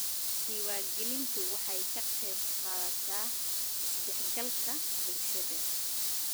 Diiwaangelintu waxay ka qaybqaadataa is-dhexgalka bulshada.